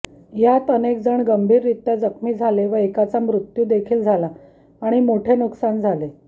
यात अनेकजण गंभीररित्या जखमी झाले व एकाचा मृत्यू देखील झाला आणि मोठे नूकसान झाले